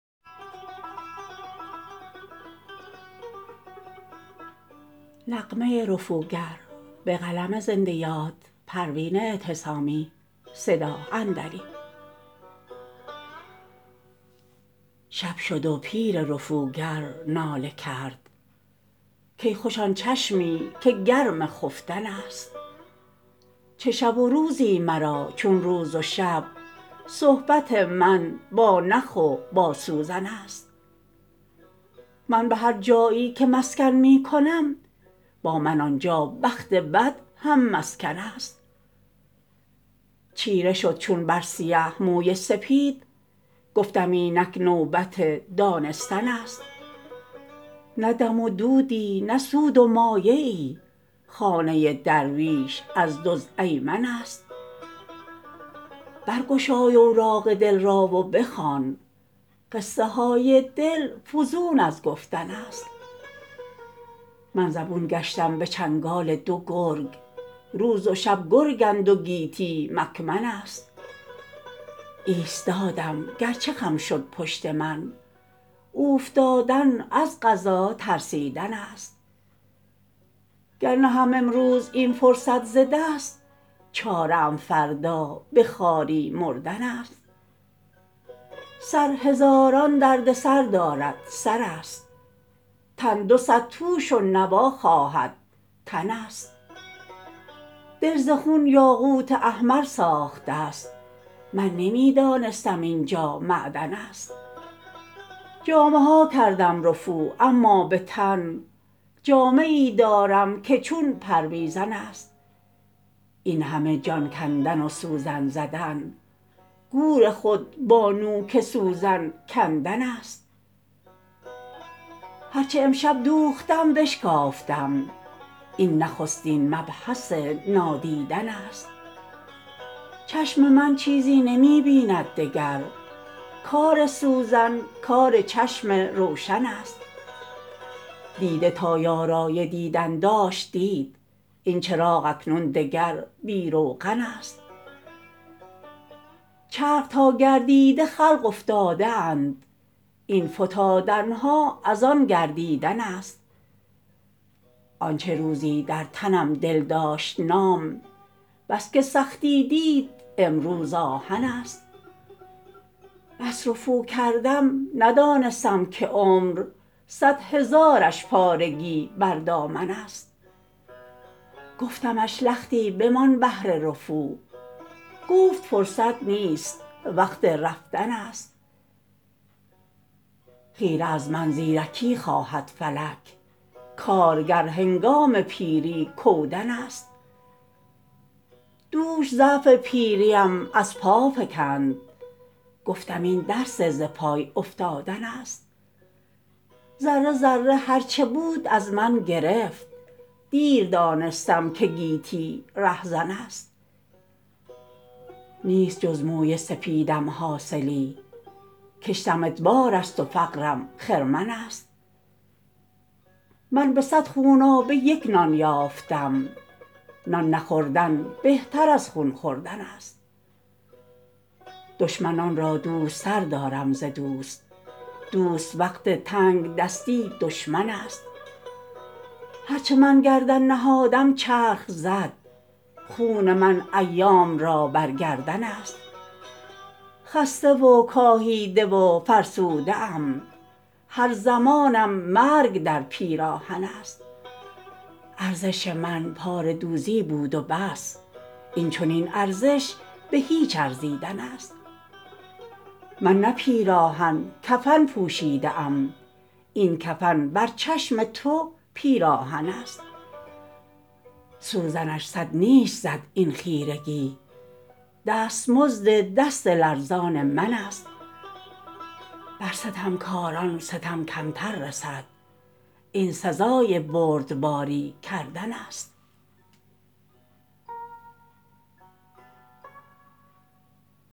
شب شد و پیر رفوگر ناله کرد کای خوش آن چشمی که گرم خفتن است چه شب و روزی مرا چون روز و شب صحبت من با نخ و با سوزن است من به هر جایی که مسکن می کنم با من آنجا بخت بد هم مسکن است چیره شد چون بر سیه موی سپید گفتم اینک نوبت دانستن است نه دم و دودی نه سود و مایه ای خانه درویش از دزد ایمن است برگشای اوراق دل را و بخوان قصه های دل فزون از گفتن است من زبون گشتم به چنگال دو گرگ روز و شب گرگند و گیتی مکمن است ایستادم گرچه خم شد پشت من اوفتادن از قضا ترسیدن است گر نهم امروز این فرصت ز دست چاره ام فردا به خواری مردن است سر هزاران دردسر دارد سر است تن دو صد توش و نوا خواهد تن است دل ز خون یاقوت احمر ساخته است من نمی دانستم اینجا معدن است جامه ها کردم رفو اما به تن جامه ای دارم که چون پرویزن است این همه جان کندن و سوزن زدن گور خود با نوک سوزن کندن است هر چه امشب دوختم بشکافتم این نخستین مبحث نادیدن است چشم من چیزی نمی بیند دگر کار سوزن کار چشم روشن است دیده تا یارای دیدن داشت دید این چراغ اکنون دگر بی روغن است چرخ تا گردیده خلق افتاده اند این فتادنها از آن گردیدن است آنچه روزی در تنم دل داشت نام بسکه سختی دید امروز آهن است بس رفو کردم ندانستم که عمر صد هزارش پارگی بر دامن است گفتمش لختی بمان بهر رفو گفت فرصت نیست وقت رفتن است خیره از من زیرکی خواهد فلک کارگر هنگام پیری کودن است دوش ضعف پیریم از پا فکند گفتم این درس ز پای افتادن است ذره ذره هر چه بود از من گرفت دیر دانستم که گیتی رهزن است نیست جز موی سپیدم حاصلی کشتم ادبار است و فقرم خرمن است من به صد خونابه یک نان یافتم نان نخوردن بهتر از خون خوردن است دشمنان را دوست تر دارم ز دوست دوست وقت تنگدستی دشمن است هر چه من گردن نهادم چرخ زد خون من ایام را بر گردن است خسته و کاهیده و فرسوده ام هر زمانم مرگ در پیراهن است ارزش من پاره دوزی بود و بس این چنین ارزش به هیچ ارزیدن است من نه پیراهن کفن پوشیده ام این کفن بر چشم تو پیراهن است سوزنش صد نیش زد این خیرگی دستمزد دست لرزان من است بر ستمکاران ستم کمتر رسد این سزای بردباری کردن است